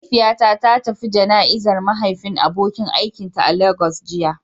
Mahaifiyata ta tafi jana'izar mahaifin abokin aikinta a Lagos jiya.